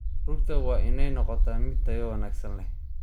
Rugta waa inay noqotaa mid tayo wanaagsan leh.